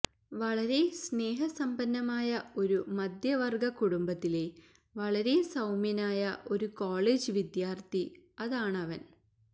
വളരെ സ്നേഹസമ്പന്നമായ ഒരു മധ്യവര്ഗ കുടുംബത്തിലെ വളരെ സൌമ്യനായ ഒരു കോളേജ് വിദ്യാര്ത്ഥി അതാണവന്